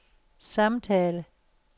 samtale